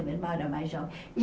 Meu irmão era mais jovem.